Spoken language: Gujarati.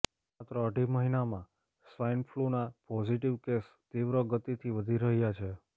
માત્ર અઢી મહિનામાં સ્વાઈન ફ્લૂના પોઝિટિવ કેસ તીવ્ર ગતિથી વધી રહ્યાં છે